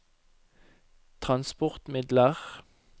transportmidler